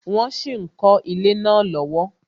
Wọn sì ń kọ ilé náà lọ́wọ́